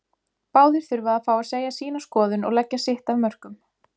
Báðir þurfa að fá að segja sína skoðun og leggja sitt af mörkum.